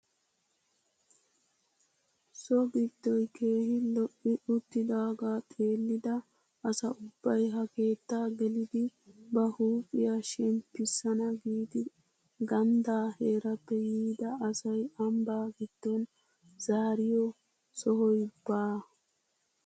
So giddoy keehi lo"i uttidagaa xeellida asa ubbay ha keettaa gelidi ba huuphphiyaa shemppisana giidi ganddaa heerappe yiida asay ambbaa giddon zaariyo sohoy baa!